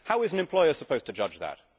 How is an employer supposed to judge that?